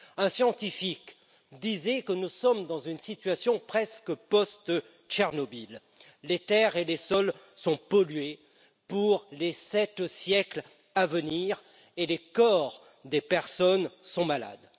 Un scientifique disait que nous sommes dans une situation presque post Tchernobyl les terres et les sols sont pollués pour les sept siècles à venir et les habitants sont malades.